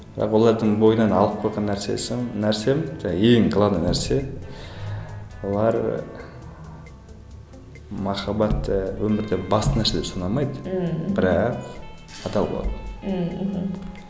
бірақ олардың бойынан алып койған нәрсем жаңа ең главный нәрсе олар ы махаббат ы өмірде басты нәрсе ұсына алмайды мхм бірақ адал болады ммм мхм